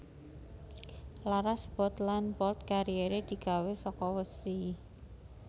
Laras bolt lan bolt carriere digawe saka wesi